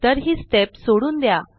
तर ही स्टेप सोडून द्या